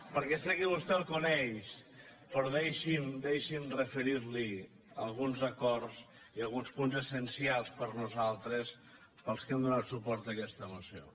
perquè sé que vostè el coneix però deixi’m deixi’m referir li alguns acords i alguns punts essencials per a nosaltres per als que hem donat suport a aquesta moció